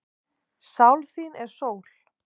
Sál þín er sól.